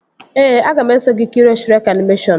Ee, aga m eso gị kirie Shrek animeshọnu